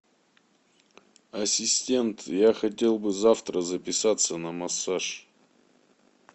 ассистент я хотел бы завтра записаться на массаж